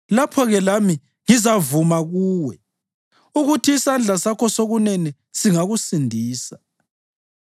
Lapho-ke lami ngizavuma kuwe ukuthi isandla sakho sokunene singakusindisa.